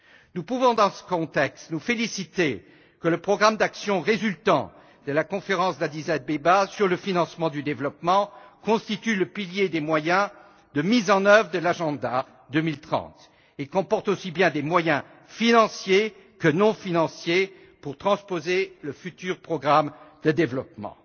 Nous pouvons, dans ce contexte, nous féliciter que le programme d'action résultant de la conférence d'Addis Abeba sur le financement du développement constitue le pilier des moyens de mise en œuvre de l'agenda 2030 et comporte aussi bien des moyens financiers que non financiers pour transposer le futur programme de développement.